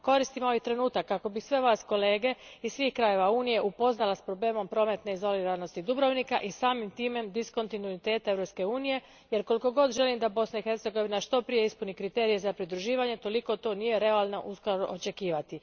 Koristim ovaj trenutak kako bih sve vas kolege iz svih krajeva Unije upoznala s problemom prometne izoliranosti Dubrovnika i samim time diskontinuiteta Europske unije jer koliko god želim da Bosna i Hercegovina što prije ispuni kriterije za pridruživanje, toliko to nije realno uskoro očekivati.